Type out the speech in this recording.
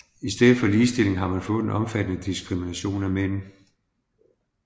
I stedet for ligestilling har man fået en omfattende diskrimination af mænd